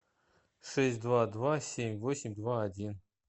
шесть два два семь восемь два один